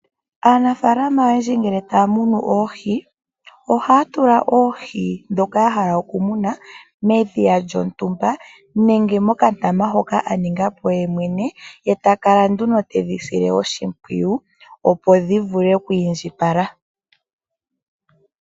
Aanafaalama oyendji ngele taya munu oohi. Ohaya tula oohi ndhoka ya hala oku muna medhiya lyontumba. Nenge mokandama hoka aningapo yemwene. Ye takala nduno tedhi sile oshimpwiyu opo dhi vule oku indjipala.